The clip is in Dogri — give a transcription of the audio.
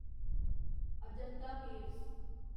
अजंता केव्स